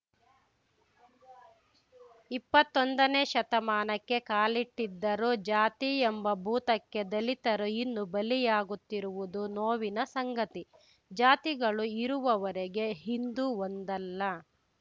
ಇಪ್ಪತ್ತೊಂದನೇ ಶತಮಾನಕ್ಕೆ ಕಾಲಿಟ್ಟಿದ್ದರೂ ಜಾತಿ ಎಂಬ ಭೂತಕ್ಕೆ ದಲಿತರು ಇನ್ನು ಬಲಿಯಾಗುತ್ತಿರುವುದು ನೋವಿನ ಸಂಗತಿ ಜಾತಿಗಳು ಇರುವವರೆಗೆ ಹಿಂದೂ ಒಂದಲ್ಲ